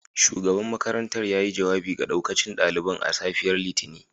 Shugaban makarantar yayi jawabi ga daukacin daliban a safiyar Litinin